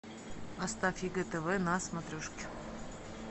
поставь егэ тв на смотрешке